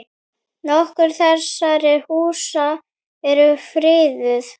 Nokkur þessara húsa eru friðuð.